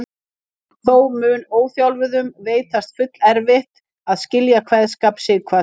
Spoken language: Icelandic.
Þó mun óþjálfuðum veitast fullerfitt að skilja kveðskap Sighvats.